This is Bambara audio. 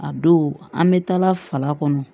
A don an bɛ taa fala kɔnɔ